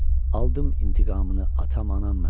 Aldım intiqamını atam, anam mənim.